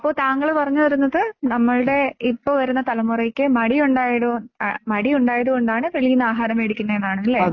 അപ്പോൾ താങ്കൾ പറഞ്ഞുവരുന്നത് നമ്മുടെ ഇപ്പോ വരുന്ന തലമുറയ്ക്ക് മടി ഉണ്ടായത് മടി ഉണ്ടായത് കൊണ്ടാണ് വെളിയിൽ നിന്ന് ആഹാരം മേടിക്കുന്നത് എന്നാണല്ലേ